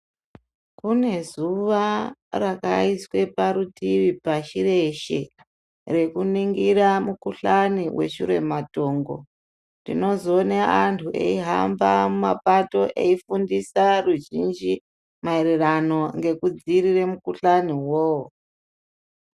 Kune zuva rakaiswa parutivi pashi rekuningira mikuhlani weshura matongo tinozooona vanhu vachihamba mumapato veifundisa ruzhinji mayererano ngekudziirira mukuhlani iwowo .